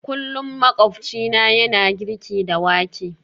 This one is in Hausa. Kullum makwabcina yana girki da wake